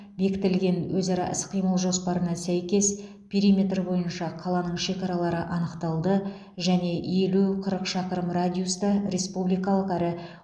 бекітілген өзара іс қимыл жоспарына сәйкес периметр бойынша қаланың шекаралары анықталды және елу қырық шақырым радиуста республикалық әрі